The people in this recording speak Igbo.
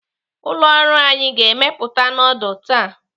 Ụlọ ọrụ anyi ga-emepụta nudul taa.